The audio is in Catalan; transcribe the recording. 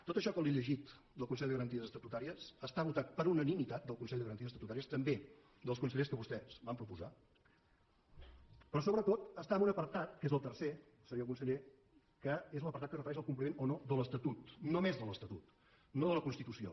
tot això que li he llegit del consell de garanties estatutàries està votat per unanimitat del consell de garanties estatutàries també dels consellers que vostès van proposar però sobretot està en un apartat que és el tercer senyor conseller que és l’apartat que es refereix al compliment o no de l’estatut només de l’estatut no de la constitució